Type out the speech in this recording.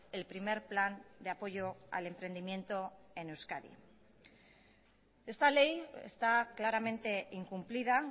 el primer plan de apoyo al emprendimiento en euskadi esta ley está claramente incumplida